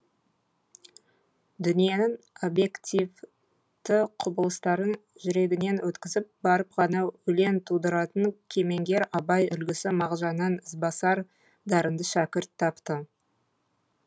дүниенің объективті құбылыстарын жүрегінен өткізіп барып ғана өлең тудыратын кемеңгер абай үлгісі мағжаннан ізбасар дарынды шәкірт тапты